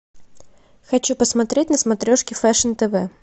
хочу посмотреть на смотрешке фэшн тв